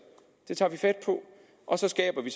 det tager vi fat på og så skaber vi